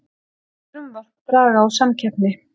Segja frumvarp draga úr samkeppni